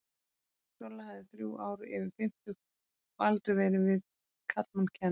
Solla hafði þrjú ár yfir fimmtugt og aldrei verið við karlmann kennd.